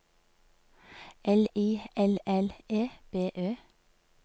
L I L L E B Ø